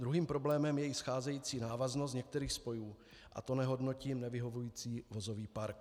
Druhým problémem je i scházející návaznost některých spojů, a to nehodnotím nevyhovující vozový park.